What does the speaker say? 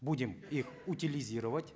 будем их утилизировать